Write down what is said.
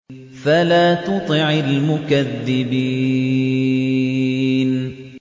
فَلَا تُطِعِ الْمُكَذِّبِينَ